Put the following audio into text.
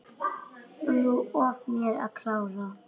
Lof mér að klára.